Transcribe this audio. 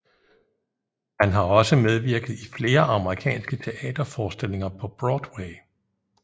Han har også medvirket i flere amerikanske teaterforestillinger på Broadway